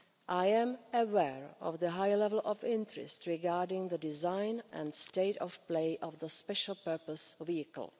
I am aware of the high level of interest regarding the design and state of play of the special purpose vehicle.